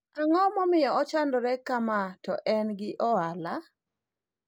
ang'o momiyo ochandore kama to en gi ohala?